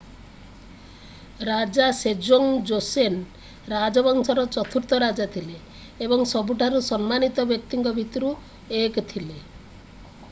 ରାଜା Sejong Joseon ରାଜବଂଶର ଚତୁର୍ଥ ରାଜା ଥିଲେ ଏବଂ ସବୁଠାରୁ ସମ୍ମାନିତ ବ୍ୟକ୍ତିଙ୍କ ଭିତରୁ 1 ଥିଲେ